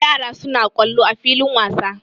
Yara sun yi kwallo a filin wasa.